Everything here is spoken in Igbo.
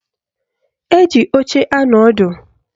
Eji oche anọ ọdụ